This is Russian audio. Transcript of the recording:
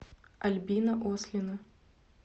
альбина ослина